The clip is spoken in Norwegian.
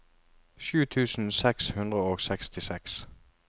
sju tusen seks hundre og sekstiseks